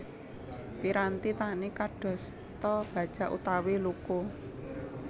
Piranti tani kadosta bajak utawi luku